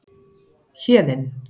Héðinn